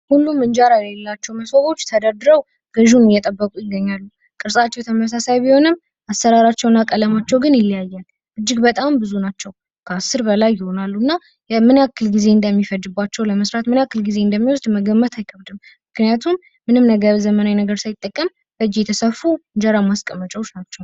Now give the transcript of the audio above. ሁሉም እንጀራ የሌላቸው ሞሰቦች ተደርድረው ገዥውን እየጠበቁ ይገኛሉ። ቅርፃቸው ተመሳሳይ ቢሆንም አሰራራቸውና ቀለማቸው ግንይለያያል። እጅግ በጣም ብዙ ናቸው። ከአስር በላይ ይሆናሉ። እና ለመስራት ምን ያህል ጊዜ እንደሚፈጅ ለመገመት አይከብድም ምክንያቱም ምንም አይነት ዘመናዊ ነገር ሳይጠቀሙ በእጅ የተሰፉ የእንጀራ ማስቀመጫዎች ናቸው።